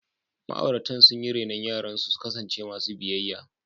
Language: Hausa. Ma’auratan sun yi renon yaransu su kasance masu biyayya.